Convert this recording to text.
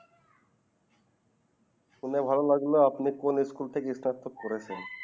শুনে ভালো লাগলো আপনি কোন স্কুলে থেকে স্নাতক করেছেন?